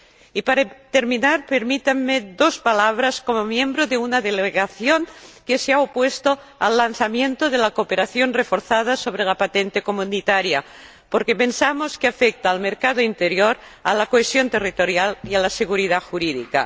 Y para terminar, permítanme dos palabras como miembro de una delegación que se ha opuesto al lanzamiento de la cooperación reforzada sobre la patente comunitaria, porque pensamos que afecta al mercado interior, a la cohesión territorial y a la seguridad jurídica.